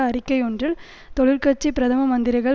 அறிக்கை ஒன்றில் தொழிற்கட்சி பிரதம மந்திரிகள்